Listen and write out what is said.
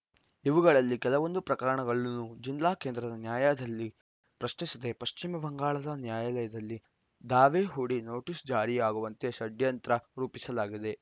ಇವುಗಳಲ್ಲಿ ಕೆಲವೊಂದು ಪ್ರಕರಣಗಳನ್ನು ಜಿಲ್ಲಾ ಕೇಂದ್ರದ ನ್ಯಾಯಾಲಯದಲ್ಲಿ ಪ್ರಶ್ನಿಸದೆ ಪಶ್ಚಿಮ ಬಂಗಾಳದ ನ್ಯಾಯಾಲಯದಲ್ಲಿ ದಾವೆ ಹೂಡಿ ನೋಟಿಸ್‌ ಜಾರಿಯಾಗುವಂತೆ ಷಡ್ಯಂತ್ರ ರೂಪಿಸಲಾಗಿದೆ